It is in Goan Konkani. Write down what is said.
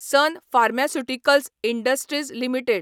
sun pharmaceuticals industries limited